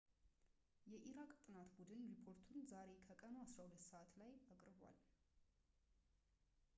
የኢራቅ ጥናት ቡድን ሪፖርቱን ዛሬ ከቀኑ 12.00 gmt ሰዓት ላይ አቅርቧል